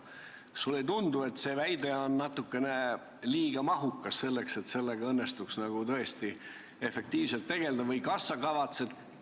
Kas sulle ei tundu, et see väide on natukene liiga mahukas, selleks et sellega õnnestuks tõesti efektiivselt tegeleda?